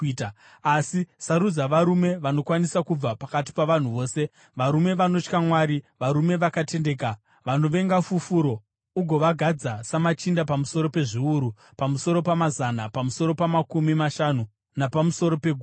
Asi sarudza varume vanokwanisa kubva pakati pavanhu vose, varume vanotya Mwari, varume vakatendeka vanovenga fufuro, ugovagadza samachinda pamusoro pezviuru, pamusoro pamazana, pamusoro pamakumi mashanu napamusoro pegumi.